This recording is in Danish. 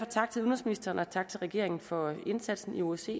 tak til udenrigsministeren og tak til regeringen for indsatsen i osce